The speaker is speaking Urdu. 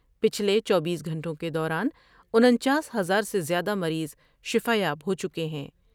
پچھلے چوبیس گھنٹوں کے دوران انچاس ہزار سے زیادہ مریض شفایاب ہو چکے ہیں ۔